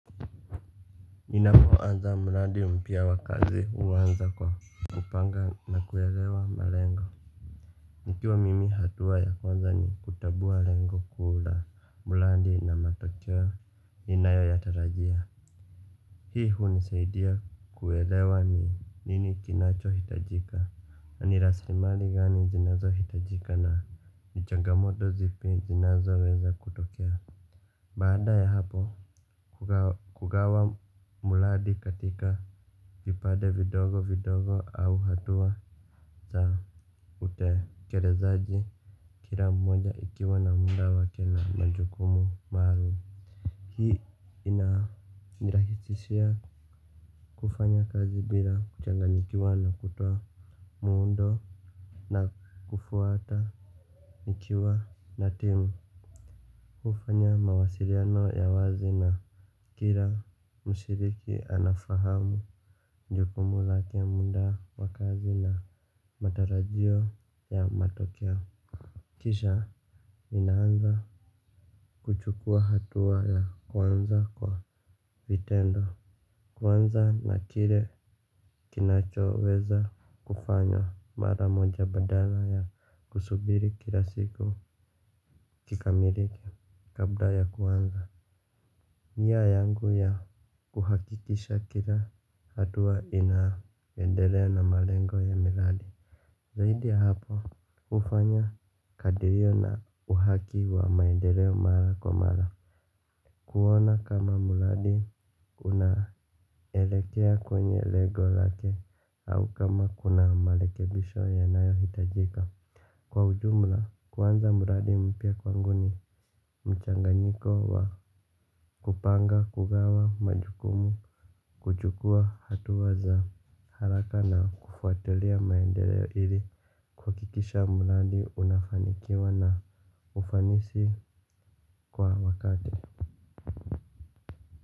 Ninapoanza mradi mpya wa kazi huanza kwa kupanga na kuelewa malengo. Nikiwa mimi hatua ya kwanza ni kutambua lengo kuu la mradi na matokeo ninayo yatarajia. Hii hunisaidia kuelewa ni nini kinachohitajika na ni rasilimali gani zinazohitajika na ni changamoto zipi zinazoweza kutokea. Baada ya hapo hugawa mradi katika vipade vidogo vidogo au hatua za utekelezaji. Kila mmoja ikiwa na muda wake na majukumu maalum hii inanirahisishia kufanya kazi bila kuchanganyikiwa na kutoa muundo na kufuata nikiwa na timu hufanya mawasiliano ya wazi na kila mshiriki anafahamu jukumu lake muda wa kazi na matarajio ya matokeo. Kisha ninaanza kuchukua hatua ya kwanza kwa vitendo. Kuanza na kile kinachoweza kufanya mara moja badala ya kusubiri kila siku kikamilike kabla ya kuanza. Nia yangu ya kuhakikisha kila hatua inaendelea na malengo ya miradi. Zaidi ya hapo hufanya kadirio na uhaki wa maendeleo mara kwa mara. Kuona kama mradi unaelekea kwenye lengo lake au kama kuna marekebisho yanayohitajika. Kwa ujumla kuanza mradi mpya kwangu ni mchanganyiko wa kupanga kugawa majukumu kuchukua hatua za haraka na kufuatilia maendeleo ili kuhakikisha mradi unafanikiwa na ufanisi kwa wakati.